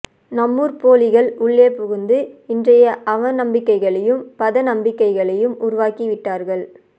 நம்மூர் போலிகள் உள்ளே புகுந்து இன்றைய அவநம்பிக்கைகளையும் பதத நம்பிக்கைகளையும் உருவாக்கி விட்டார்கள்